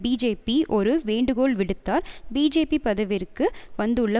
BJP ஒரு வேண்டுகோள் விடுத்தார் பிஜேபி பதவிக்கு வந்துள்ள